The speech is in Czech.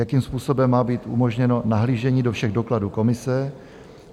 Jakým způsobem má být umožněno nahlížení do všech dokladů komise?